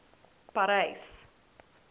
parys